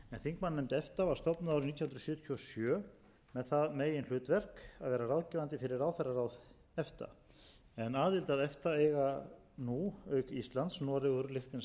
þingmannanefnd efta var stofnuð árið nítján hundruð sjötíu og sjö með það meginhlutverk að vera ráðgefandi fyrir ráðherraráð efta aðild að efta eiga nú auk íslands noregur liechtenstein og